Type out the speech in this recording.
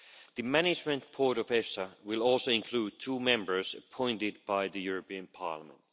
The management board of EFSA will also include two members appointed by the European Parliament.